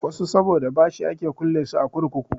Wasu saboda bashi ake kulle su a kurkuku.